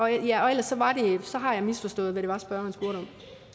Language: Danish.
jeg misforstået hvad